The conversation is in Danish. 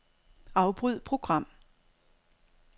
Afbryd program.